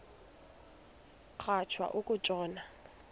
rhatya uku tshona